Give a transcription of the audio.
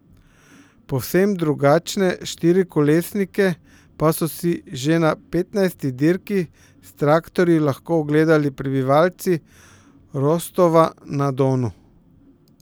Povsem drugačne štirikolesnike pa so si že na petnajsti dirki s traktorji lahko ogledali prebivalci Rostova na Donu.